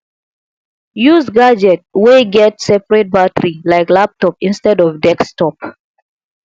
use gadget wey get seperate battery like laptop instead of desktop